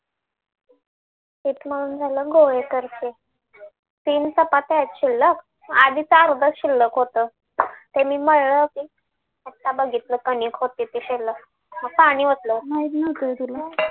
पीठ मळून झालं गोळी करतीये तीन चपात्या आहेत शिल्लक आधीच आर्ध शिल्लक होतं ते मी मळल पीठ आता बघितलं कणिक होतं ते शिल्लक मग पाणी ओतल